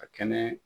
Ka kɛnɛ